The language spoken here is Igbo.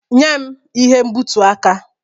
Nye m ihe mgbutu aka!